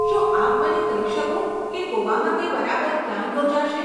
શું આપ મને કહી શકો કે ગોવામાં તે બરાબર ક્યાં યોજાશે?